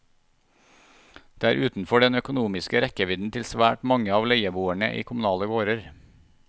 Det er utenfor den økonomiske rekkevidden til svært mange av leieboerne i kommunale gårder.